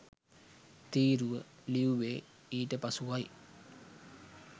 තීරුව ලියුවේ ඊට පසුවයි